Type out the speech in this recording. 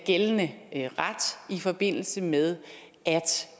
gældende ret i forbindelse med